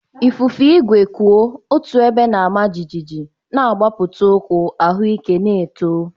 Ifufe igwe kwụ otu ebe na-ama jijiji, na-agbapụta ụkwụ, ahụike na-eto.